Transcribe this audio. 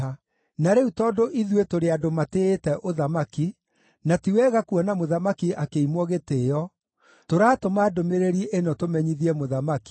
Na rĩu tondũ ithuĩ tũrĩ andũ matĩĩte ũthamaki, na ti wega kuona mũthamaki akĩimwo gĩtĩĩo, tũratũma ndũmĩrĩri ĩno tũmenyithie mũthamaki,